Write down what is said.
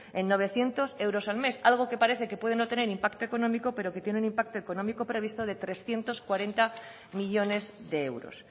en novecientos euros al mes algo que parece que parece que puede no tener impacto económico pero que tiene un impacto económico previsto de trescientos cuarenta millónes de euros